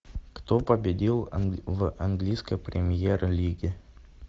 кто победил в английской премьер лиге